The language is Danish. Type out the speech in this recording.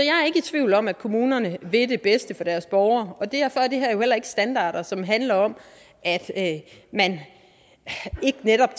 i tvivl om at kommunerne vil det bedste for deres borgere og derfor er det her jo heller ikke standarder som handler om at man ikke netop